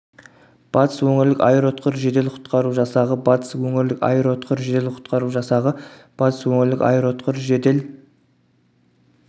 батыс өңірлік аэроұтқыр жедел құтқару жасағы батыс өңірлік аэроұтқыр жедел құтқару жасағы батыс өңірлік аэроұтқыр жедел